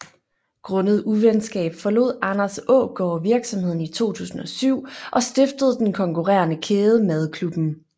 Grundet uvenskab forlod Anders Aagaard virksomheden i 2007 og stiftede den konkurrerende kæde Madklubben